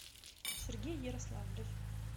сергей ярославлев